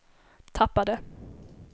tappade